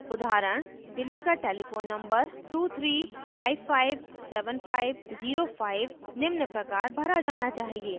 उदाहरण: delhi का telephone number 23557505 निम्न प्रकार भरा जाना चाहिए